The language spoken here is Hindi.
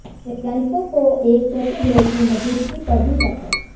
वैज्ञानिकों को एक चौथे ग्रह की मजूदगी पर भी शक है